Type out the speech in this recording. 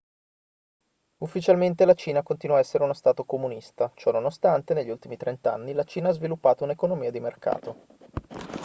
ufficialmente la cina continua a essere uno stato comunista ciononostante negli ultimi trent'anni la cina ha sviluppato un'economia di mercato